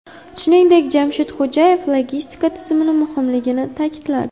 Shuningdek, Jamshid Xo‘jayev logistika tizimining muhimligini ta’kidladi.